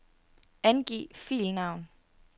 Angiv filnavn.